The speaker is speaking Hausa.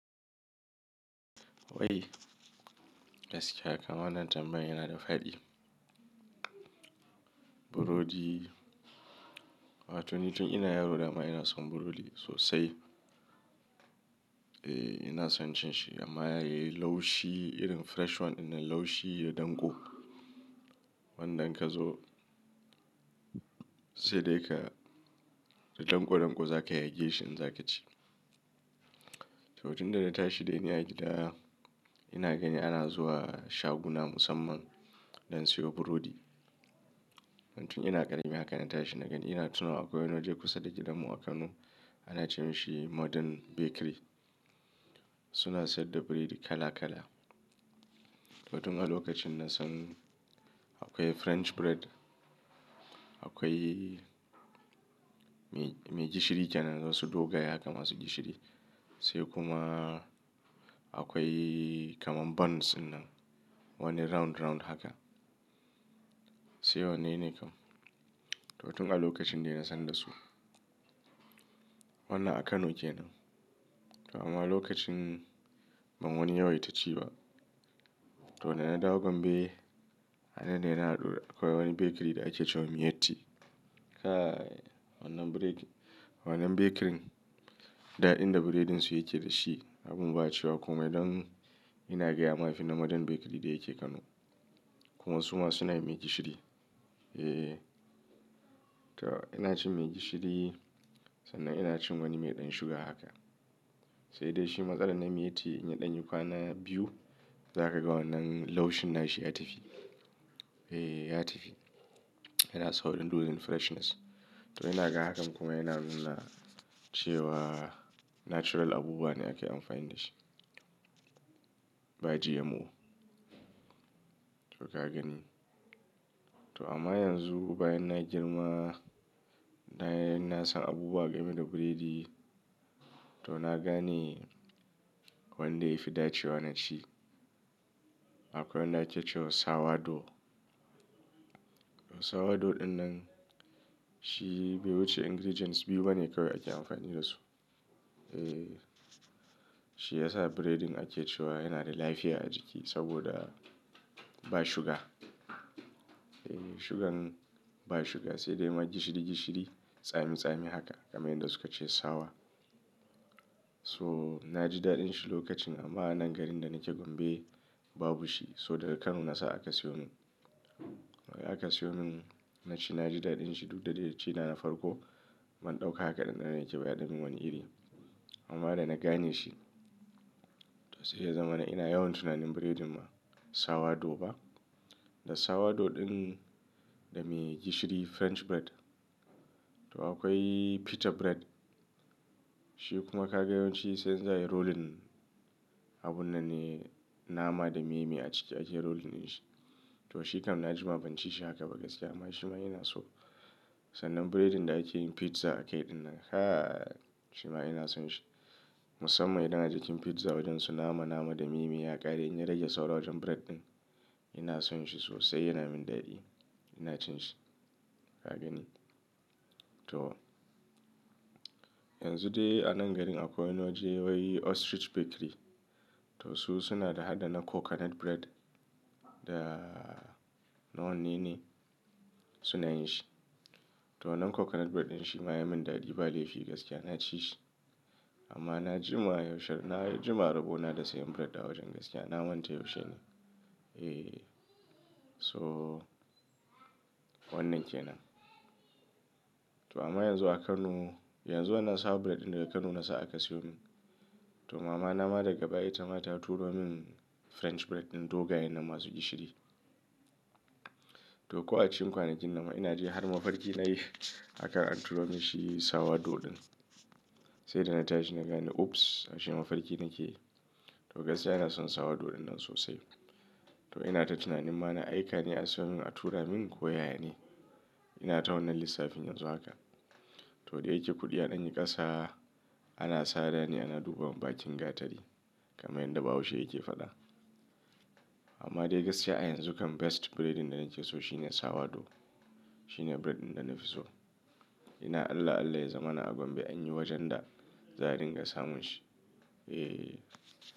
Wai gaskiya kam wanan tambayan yana da faɗi. Burodi, wato ni tun ina yaro dama ina son burodi sosai. Eh ina son cin shi amma yayi laushi irin fresh one ɗinnan laushi da danko. Wanda in ka zo sai dai ka da danko danko za ka yage shi in za ka ci. To tun da na tashi dai ni a gida ina gani ana zuwa shaguna musamman don siyo burodi. Tun ina ƙarami haka na tashi na gani ina tuna akwai wani waje kusa da gidanmu a Kano ana ce mashi Modern Bakery. Suna sayar da burodi kala kala. To tun a lokacin na san akwai French bread, akwai mai gishiri kenan wasu dogayen haka masu gishiri. Sai kuma akwai kamar buns ɗinnan wanne round round haka. Sai wanne ne kam? To tun a lokacin dai na san da su. Wannan a Kano kenan. Amma a lokacin ban wani yawaita ci ba. To da na dawo Gombe, annan ne na haɗu akwai wani bakery da ake cewa Miyetti. Kai wannan bakery daɗin da burodin su yake dashi abun ba a cewa komai don ina gaya ma yafi Modern Bakery da yake Kano. Kuma su ma suna yi mai gishiri. Eh. To ina cin mai gishiri sannan ina cin wani mai ɗan shuga haka. Sai dai shi matsalar na Miyetti in ya ɗanyikwa na biyu, za ka ga wannan laushin na shi ya tafi. Eh ya tafi. Yana saurin losing freshness. To ina ga hakan kuma yana nuna cewa natural abubuwa ne ake amfani da shi. Ba GMO. To ka gani. To amma yanzu bayan na girma na san abubuwa game da burodi. To na gane wanda yafi dacewa na ci. Akwai wanda ake cewa sour dough. Sawa dough ɗinnan shi bai wuce ingredients biyu bane kawai ake amfani da su. Eh shi ya sa bredin ake cewa yana da lafiya a jiki saboda ba shuga. Eh shugan ba shuga sai dai ma gishiri gishiri, tsami tsami haka kamar yadda suka ce sour. So na ji daɗin shi lokacin amma a nan garin da nake Gombe babu shi. So daga Kano na sa aka siyo min. Aka siyo min na ci na ji daɗin shi duk da dai na ci na na farko man ɗauka haka ɗanɗano yake ba ya dan yimin wani iri. Amma dai na gane shi. To sai ya zama na ina yawan tunanin bredin ma sour dough ba. Da sour dough ɗin da mai gishiri French bread. To akwai petter bread. Shi kuma ka ga yawanci sai za ayi rolling abun nan ne nama da miye miye a ciki ake rolling in shi. To shi kam na ji ma ban ci shi haka ba gaskiya amma shi ma ina so. Sannan breading da ake yin pizza akai ɗinnan. Kai shi ma ina son shi. Musamman idan a jikin pizza wajen su nama nama da miye miye ya ƙare in ya rage sauran wajen bread ɗin ina son shi sosai yana min daɗi. Ina cin shi. Ka gani. To yanzu dai a nan garin akwai wani waje wai Ostrich Bakery. To su suna da hada na coconut bread da nawa ne ne suna yin shi. To wannan coconut bread ɗin shi ma ya min daɗi ba laifi gaskiya na ci shi. Amma na ji ma yaushe na na jima rubo na da sayan bread a wajen gaskiya na manta yaushe ne. Eh so wannan kenan. To amma yanzu a Kano yanzu wannan sour bread ɗin daga Kano na sa aka siyo min. To mama na ma daga baya ita ma ta turo min French bread ɗin dogayen na masu gishiri. To ko a cikin kwanakin nan ma ina ji har mafarki na yi akan an turo min shi sour dough ɗin. Sai da na tashi na gani ops ashe mafarki nake yi. To gaskiya ina son sawa dough ɗinnan sosai. To ina ta tunanin ma na aika ne a siyo min a tura min ko yana ne. Ina ta wannan lissafi yanzu haka. To dai yake kuɗi a ɗanye ƙasa ana sada ne ana duba wa bakin gatari kamar yadda Bahausha yake faɗa. Amma dai gaskiya a yanzu kam best breading da nake so shi ne sawa dough. Shi ne bread din da na fi so. Ina Allah Allah ya zama na a Gombe an yi wajen da za a dinga samun shi. Eh.